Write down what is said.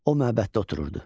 O məbəddə otururdu.